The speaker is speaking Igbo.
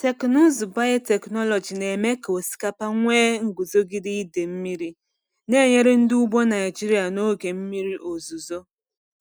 Teknụzụ biotechnology na-eme ka osikapa nwee nguzogide ide mmiri, na-enyere ndị ugbo Naijiria n’oge mmiri ozuzo.